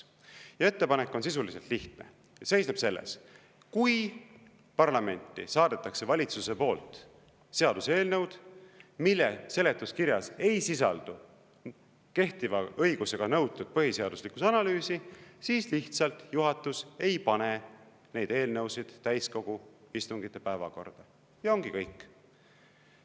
Ja ettepanek on sisuliselt lihtne, see seisneb selles: kui parlamenti saadetakse valitsuse poolt seaduseelnõud, mille seletuskirjas ei sisaldu kehtiva õigusega nõutud põhiseaduslikkuse analüüsi, siis lihtsalt juhatus ei pane neid eelnõusid täiskogu istungite päevakorda, ja ongi kõik.